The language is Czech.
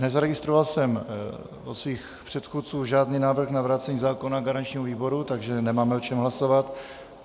Nezaregistroval jsem od svých předchůdců žádný návrh na vrácení zákona garančnímu výboru, takže nemáme o čem hlasovat.